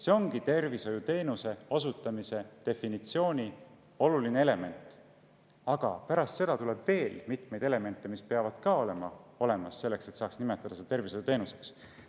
See ongi tervishoiuteenuse osutamise definitsioonis oluline element, aga pärast seda tuleb veel mitmeid elemente, mis peavad ka olemas olema selleks, et seda saaks nimetada tervishoiuteenuseks.